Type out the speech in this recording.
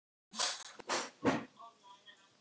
Hann veit varla sitt rjúkandi ráð.